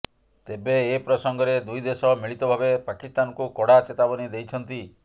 ତେବେ ଏ ପ୍ରସଙ୍ଗରେ ଦୁଇ ଦେଶ ମିଳିତ ଭାବେ ପାକିସ୍ତାନକୁ କଡ଼ା ଚେତାବନୀ ଦେଇଛନ୍ତି